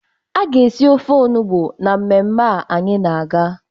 A ga-esi ofe onugbu na mmemme a anyị na-aga.